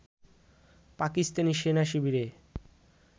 Pakistani সেনা-শিবিরে